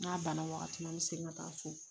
N'a banna wagati min an mɛ segin ka taa so